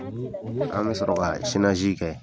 An bɛ sɔrɔ ka kɛ.